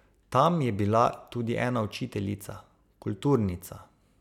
Tam je bila tudi ena učiteljica, kulturnica.